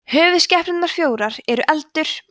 höfuðskepnurnar fjórar eru eldur